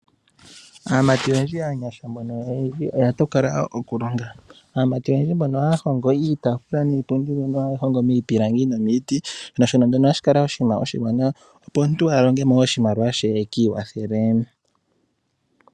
Aamati oyendji aanyasha oya tokola okulonga, oyendji ohaya hongo iitafula niipundi niipilangi nomiiti. Ohashi kala oshinima oshiwanawa, opo omuntu a longemo oshimaliwa she ekiikwathele.